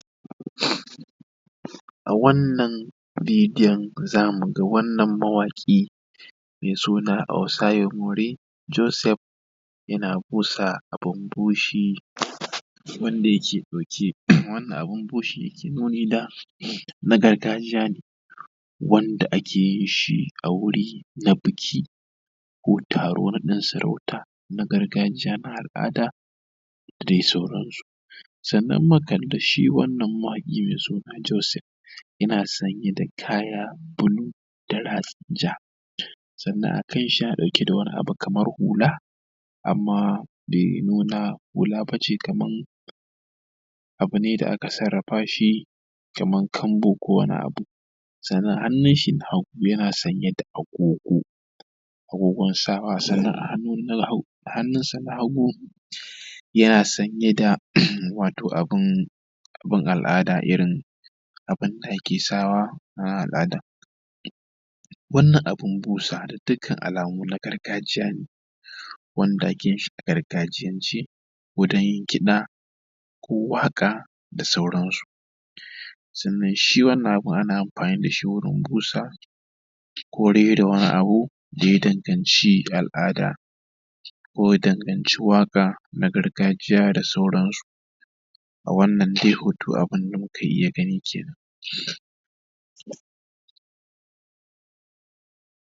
a wannan bidiyo za mu ga wannan mawaƙi osayomori joseph yana busa abun bushi wanda yake ɗauke wannan abun bushe yake nuni da na gargajiya ne wanda ake yin shi a wuri na biki ko taro naɗin sarauta na gargajiya na al’ada da dai sauransu sannan mukalli shi wannan mawaƙi mai suna joseph yana sanye da kaya blue da ratsin ja sannan a kan shi yana ɗauke da wani abu kaman hula amman bai nuna hula ba ce kaman abu ne da aka sarrafa shi kaman kambu ko wani abu sannan hannun shi na hagu yana sanye da agogo agogon sa wa sannan a hannunsa hagu yana sanye da wato abun al’ada irin abunda ake sawa a al’ada wannan abun busa da dukkan alamu na gargajiya ne wanda ake yin shi a gargajiyance ko don yin kiɗa ko waƙa da sauransu sannan shi wannan abun ana amfani da shi wurin busa ko rera wani abu da ya danganci al’ada ko danganci waƙa na gargajiya da sauransu a wannan dai hoto abunda muka iya gani kenan